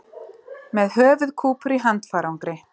Með höfuðkúpur í handfarangri